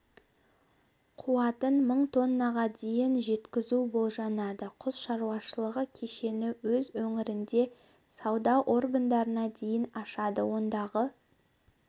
қуатын мың тоннаға дейін жеткізуболжанады құс шаруашылығы кешені өз өңірінде сауда орындарына дейін ашады ондағы